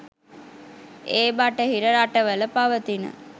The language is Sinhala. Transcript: ඒ බටහිර රටවල පවතින